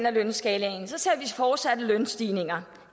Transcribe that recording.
af lønskalaen ser vi fortsatte lønstigninger